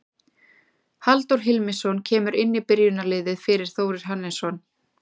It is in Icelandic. Halldór Hilmisson kemur inn í byrjunarliðið fyrir Þórir Hannesson.